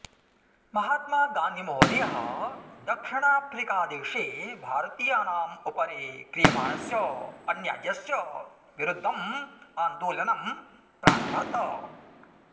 महात्मा गान्धिमहोदयः दक्षिणाफ्रिकादेशे भारतीयानाम् उपरि क्रियमाणस्य अन्याय्यस्य विरुद्धम् आन्दोलनं प्रारभत